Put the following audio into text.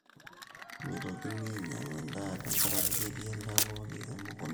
meitokuni ainyangu endaa tenkaraki ketii endaa pooki emukunta